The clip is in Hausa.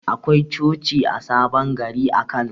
Akwai coci a sabon gari a Kano.